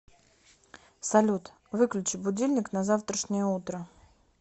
салют выключи будильник на завтрашнее утро